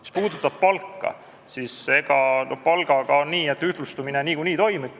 Mis puudutab palka, siis palgaga on nii, et ühtlustumine niikuinii toimub.